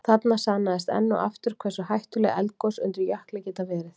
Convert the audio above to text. Þarna sannaðist enn og aftur hversu hættuleg eldgos undir jökli geta verið.